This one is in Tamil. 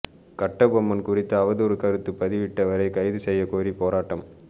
கட்டபொம்மன் குறித்து அவதூறு கருத்து பதிவிட்டவரை கைது செய்யக் கோரி போராட்டம்